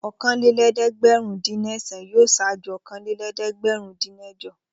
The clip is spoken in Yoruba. Okòólélẹ́ẹ̀dẹ́gbẹ̀rúndínẹ̀sán yóò ṣáájú okòólélẹ́ẹ̀dẹ́gbẹ̀rúndínẹ̀jọ.